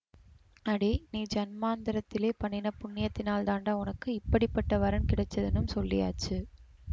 அடே நீ ஜன்மாந்தரத்திலே பண்ணின புண்யத்தினால் தாண்டா உனக்கு இப்படி பட்ட வரன் கிடச்சுதுன்னும் சொல்லியாச்சு